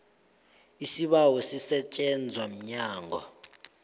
isibawo sisetjenzwa mnyango